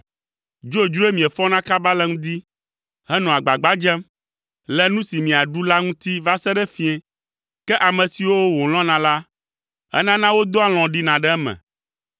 Dzodzroe miefɔna kaba le ŋdi, henɔa agbagba dzem le nu si miaɖu la ŋuti va se ɖe fiẽ, ke ame siwo wòlɔ̃na la, enana wodɔa alɔ̃ ɖina ɖe eme.